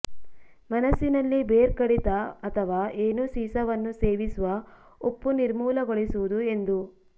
ಮನಸ್ಸಿನಲ್ಲಿ ಬೇರ್ ಕಡಿತ ಅಥವಾ ಏನೂ ಸೀಸವನ್ನು ಸೇವಿಸುವ ಉಪ್ಪು ನಿರ್ಮೂಲಗೊಳಿಸುವುದು ಎಂದು